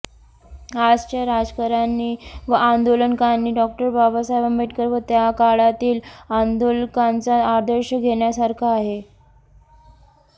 आजच्या राजकारण्यांनी व आंदोलकांनी डॉ बाबासाहेब आंबेडकर व त्या काळातील आंदोलकांचा आदर्श घेण्यासारखा आहे